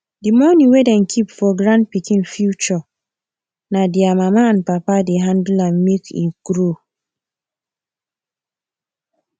di money wey dem keep for grandpikin future na their mama and papa dey handle am make e grow